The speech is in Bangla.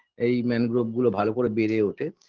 এই mangrove -গুলো ভাল করে বেড়ে ওঠে